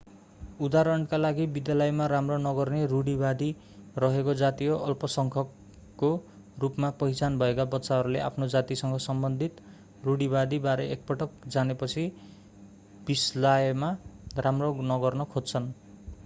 उदाहरणका लागि विद्यालयमा राम्रो नगर्ने रुढीवादी रहेको जातीय अल्पसङ्ख्यकको रूपमा पहिचान भएका बच्चाहरूले आफ्नो जातिसँग सम्बन्धित रुढीवादी बारे एकपटक जानेपछि विस्यालयमा राम्रो नगर्न खोज्छन्